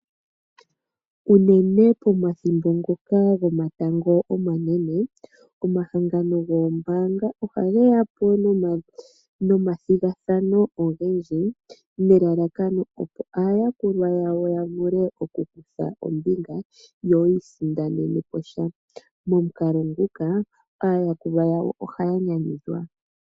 Unene pomathimbo ngoka gomatango omanene , omahangano goombaanga ohage ya po nomathigathano ogendji nelalakano opo aayakulwa yawo ya vule oku kutha ombinga yo ya isindanene sha, momukalo nguka aayakulwa yawo oha ya nyanyudhwa.